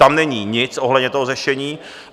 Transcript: Tam není nic ohledně toho řešení.